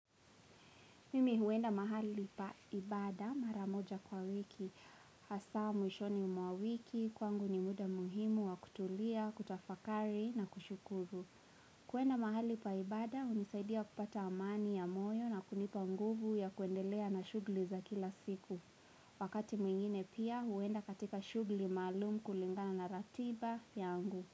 Mimi huenda mahali pa ibada mara moja kwa wiki, hasa mwishoni mwa wiki, kwangu ni muda muhimu wa kutulia, kutafakari na kushukuru. Kuenda mahali pa ibada, hunisaidia kupata amani ya moyo na kunipa nguvu ya kuendelea na shughuli za kila siku. Wakati mwingine pia huenda katika shughuli maalum kulingana na ratiba yangu.